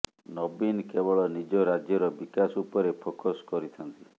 ନବୀନ କେବଳ ନିଜ ରାଜ୍ୟର ବିକାଶ ଉପରେ ଫୋକସ କରିଥାନ୍ତି